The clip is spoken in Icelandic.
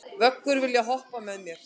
Vöggur, viltu hoppa með mér?